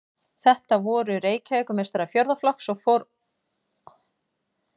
Þetta voru Reykjavíkurmeistarar fjórða flokks og orð fór af leikni þeirra með knöttinn.